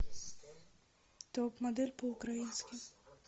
топ модель по украински